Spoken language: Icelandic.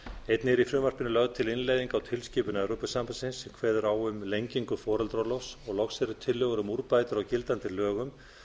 einnig er í frumvarpinu lögð til tilskipun evrópusambandsins sem kveður á um lengingu foreldraorlofs loks eru tillögur um úrbætur á gildandi lögum